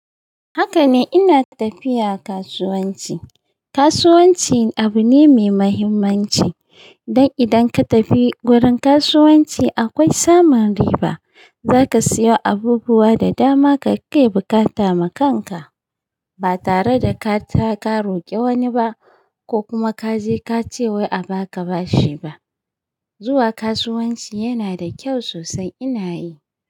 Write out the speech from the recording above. Haka ne, ina tafiya kasuwanci. Kasuwanci abu ne mai muhimmanci. Dan idan ka tafi gurin kasuwanci akwai samun riba. Za ka siyo abubuwa da dama ka kai bukata ma kanka. Ba tare da ka ta ka roƙe wani ba ko kuma ka je ka ce wai a ba ka bashi ba. Zuwa kasuwanci yana da kyau sosai ina yi.